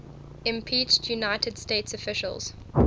impeached united states officials